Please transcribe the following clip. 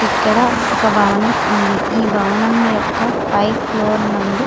ఇక్కడ ఒక భవనం ఉంది. ఈ భవనం యొక్క పై ఫ్లోర్ నందు--